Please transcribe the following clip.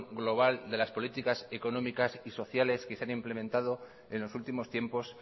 global de las políticas económicas y sociales que se han implementado en los últimos tiempos